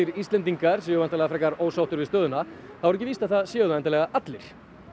Íslendingar séu væntanlega frekar ósáttir við stöðuna þá er ekki víst að það séu það endilega allir